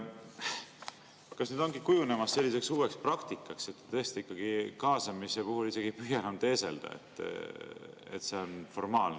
Kas nüüd ongi kujunemas selline uus praktika, et te tõesti kaasamise puhul ei püüa isegi enam teeselda, et see on sisuline?